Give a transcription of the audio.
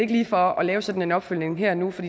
lige for at lave sådan en opfølgning her og nu for